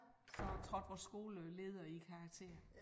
Så trådte vores skoleleder i karakter